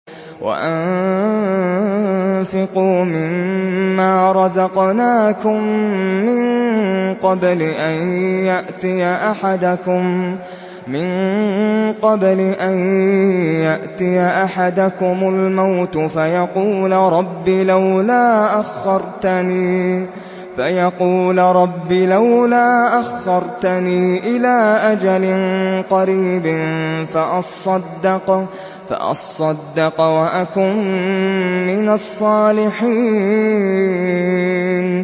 وَأَنفِقُوا مِن مَّا رَزَقْنَاكُم مِّن قَبْلِ أَن يَأْتِيَ أَحَدَكُمُ الْمَوْتُ فَيَقُولَ رَبِّ لَوْلَا أَخَّرْتَنِي إِلَىٰ أَجَلٍ قَرِيبٍ فَأَصَّدَّقَ وَأَكُن مِّنَ الصَّالِحِينَ